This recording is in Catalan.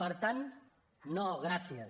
per tant no gràcies